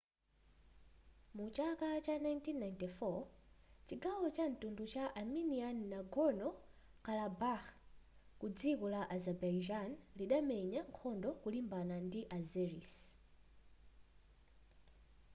mu chaka cha 1994 chigawo cha mtundu cha armenian nagorno-karabakh ku dziko la azerbaijan lidamenya nkhondo kulimbana ndi azeris